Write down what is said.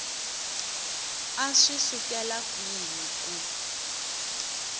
a swi sukela kwihi ku